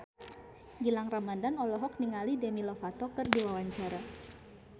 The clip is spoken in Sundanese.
Gilang Ramadan olohok ningali Demi Lovato keur diwawancara